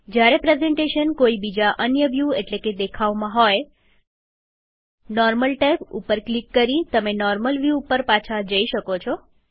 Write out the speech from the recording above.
જ્યારે પ્રેઝન્ટેશન કોઈ બીજા અન્ય વ્યુ એટલેકે દેખાવમાં હોય નોર્મલ ટેબ ઉપર ક્લિક કરી તમે નોર્મલ વ્યુ ઉપર પાછા જઈ શકો છો